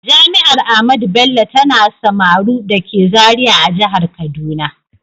Jami’ar Ahmadu Bello tana Samaru dake Zariya a Jihar Kaduna.